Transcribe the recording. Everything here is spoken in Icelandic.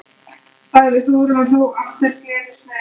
sagði Hugrún og hló aftur gleðisnauðum hlátri.